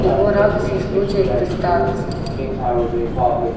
к его радости случай представился